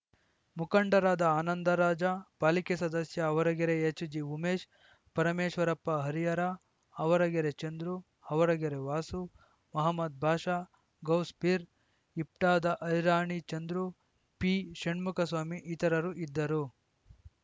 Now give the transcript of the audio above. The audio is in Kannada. ಮುಖಂಡರಾದ ಆನಂದರಾಜ ಪಾಲಿಕೆ ಸದಸ್ಯ ಆವರಗೆರೆ ಎಚ್‌ಜಿಉಮೇಶ ಪರಮೇಶ್ವರಪ್ಪ ಹರಿಹರ ಆವರಗೆರೆ ಚಂದ್ರು ಆವರಗೆರೆ ವಾಸು ಮಹಮ್ಮದ್‌ ಬಾಷಾ ಗೌಸ್‌ ಪೀರ್‌ ಇಪ್ಟಾದ ಐರಣಿ ಚಂದ್ರು ಪಿಷಣ್ಮುಖಸ್ವಾಮಿ ಇತರರು ಇದ್ದರು